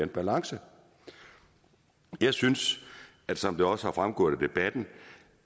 balance jeg synes som det også er fremgået af debatten